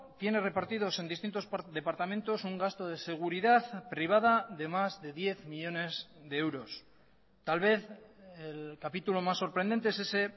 tiene repartidos en distintos departamentos un gasto de seguridad privada de más de diez millónes de euros tal vez el capítulo más sorprendente es ese